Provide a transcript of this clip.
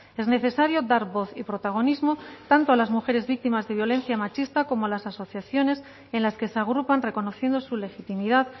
es necesario dar voz y protagonismo tanto a las mujeres víctimas de violencia machista como las asociaciones en las que se agrupan reconociendo su legitimidad